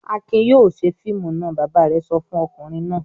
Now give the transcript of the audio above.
"Akin yóò ṣe fíìmù náà!" Bàbá rẹ̀ sọ fún ọkùnrin náà.